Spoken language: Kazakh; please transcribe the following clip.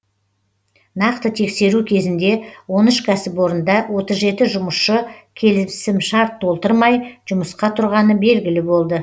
нақты тексеру кезінде он үш кәсіпорында отыз жеті жұмысшы келісімшарт толтырмай жұмысқа тұрғаны белгілі болды